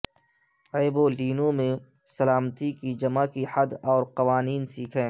ایبولینو میں سلامتی کی جمع کی حد اور قوانین سیکھیں